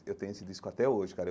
Eu tenho esse disco até hoje, cara.